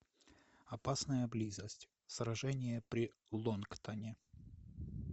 опасная близость сражение при лонгтане